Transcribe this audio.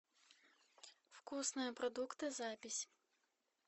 вкусные продукты запись